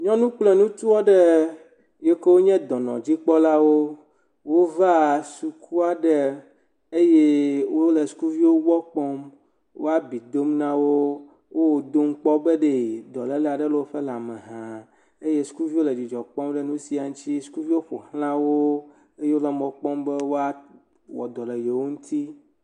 Nyɔnu kple ŋutsu aɖe yiwo ke nye dɔnɔdzikpɔlawo wov suku aɖe eye wo le sukuviwo gbɔ kpɔm. wo abi dom na wo, wo wo dom kpɔ be dɔlele aɖe le woƒe lame hã eye sukuviwo le dzidzɔ kpɔm ɖe nu sia ŋuti eye wole mɔ kpɔm be woawɔ dɔ le yewo ŋuti.